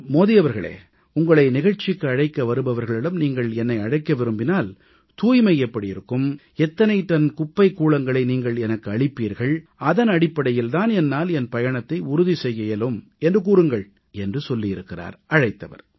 மோடி அவர்களே உங்களை நிகழ்ச்சிக்கு அழைக்க வருபவர்களிடம் நீங்கள் என்னை அழைக்க விரும்பினால் தூய்மை எப்படி இருக்கும் எத்தனை டன் குப்பைக் கூளங்களை நீங்கள் எனக்கு அளிப்பீர்கள் அதன் அடிப்படையில் தான் என்னால் என் பயணத்தை உறுதி செய்ய இயலும் என்று கூறுங்கள் என்று சொல்லியிருக்கிறார் அழைத்தவர்